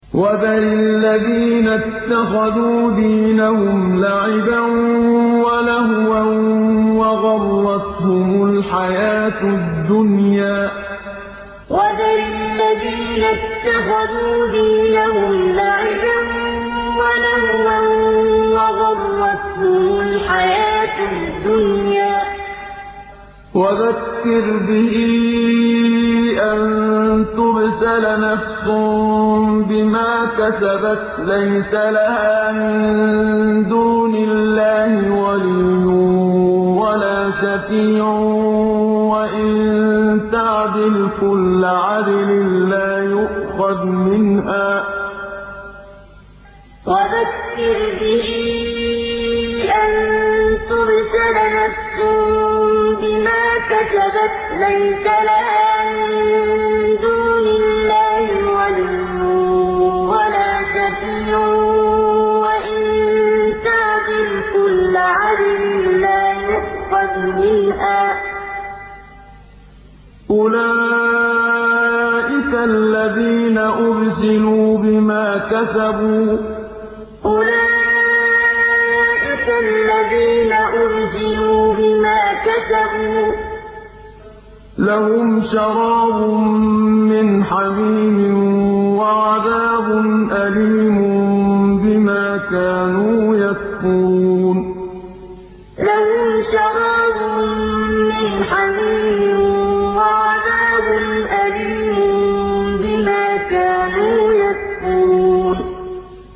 وَذَرِ الَّذِينَ اتَّخَذُوا دِينَهُمْ لَعِبًا وَلَهْوًا وَغَرَّتْهُمُ الْحَيَاةُ الدُّنْيَا ۚ وَذَكِّرْ بِهِ أَن تُبْسَلَ نَفْسٌ بِمَا كَسَبَتْ لَيْسَ لَهَا مِن دُونِ اللَّهِ وَلِيٌّ وَلَا شَفِيعٌ وَإِن تَعْدِلْ كُلَّ عَدْلٍ لَّا يُؤْخَذْ مِنْهَا ۗ أُولَٰئِكَ الَّذِينَ أُبْسِلُوا بِمَا كَسَبُوا ۖ لَهُمْ شَرَابٌ مِّنْ حَمِيمٍ وَعَذَابٌ أَلِيمٌ بِمَا كَانُوا يَكْفُرُونَ وَذَرِ الَّذِينَ اتَّخَذُوا دِينَهُمْ لَعِبًا وَلَهْوًا وَغَرَّتْهُمُ الْحَيَاةُ الدُّنْيَا ۚ وَذَكِّرْ بِهِ أَن تُبْسَلَ نَفْسٌ بِمَا كَسَبَتْ لَيْسَ لَهَا مِن دُونِ اللَّهِ وَلِيٌّ وَلَا شَفِيعٌ وَإِن تَعْدِلْ كُلَّ عَدْلٍ لَّا يُؤْخَذْ مِنْهَا ۗ أُولَٰئِكَ الَّذِينَ أُبْسِلُوا بِمَا كَسَبُوا ۖ لَهُمْ شَرَابٌ مِّنْ حَمِيمٍ وَعَذَابٌ أَلِيمٌ بِمَا كَانُوا يَكْفُرُونَ